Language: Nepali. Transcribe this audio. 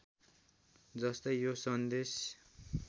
जस्तै यो सन्देश